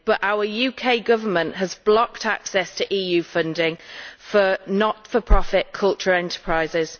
but our UK government has blocked access to EU funding for not for profit cultural enterprises.